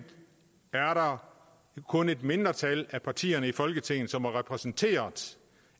er det kun et mindretal af partierne i folketinget som er repræsenteret